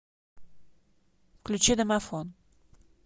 включи домофон